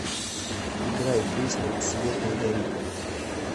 играй песню свет не горит